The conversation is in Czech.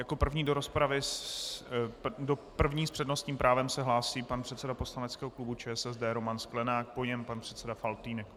Jako první s přednostním právem se hlásí pan předseda poslaneckého klubu ČSSD Roman Sklenák, po něm pan předseda Faltýnek.